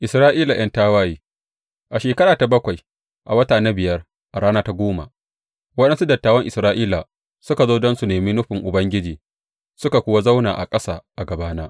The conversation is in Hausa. Isra’ila ’yan tawaye A shekara ta bakwai, a wata na biyar a rana ta goma, waɗansu dattawan Isra’ila suka zo don su nemi nufin Ubangiji, suka kuwa zauna a ƙasa a gabana.